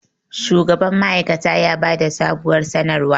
shugaban ma'aikata ya ba da sabuwar sanarwa